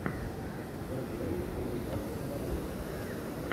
набери американских богов